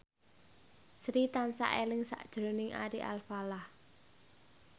Sri tansah eling sakjroning Ari Alfalah